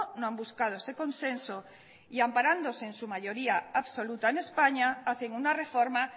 no han buscado ese consenso y amparándose en su mayoría absoluta en españa hacen una reforma